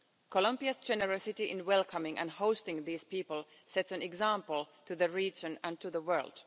Columbia's generosity in welcoming and hosting these people sets an example to the region and to the world.